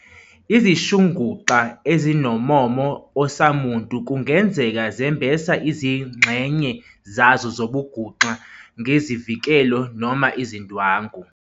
Izishinguxa ezinommomo osamuntu kungenzeka zembesa izingxenye zazo zobunguxa ngezivikelo noma izindwangu.